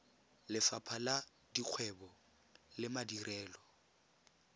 lefapha la dikgwebo le madirelo